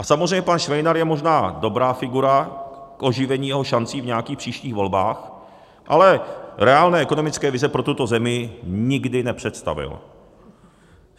A samozřejmě pan Švejnar je možná dobrá figura k oživení jeho šancí v nějakých příštích volbách, ale reálné ekonomické vize pro tuto zemi nikdy nepředstavil.